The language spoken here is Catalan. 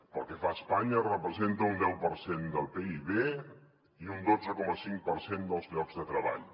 pel que fa a espanya representa un deu per cent del pib i un dotze coma cinc per cent dels llocs de treball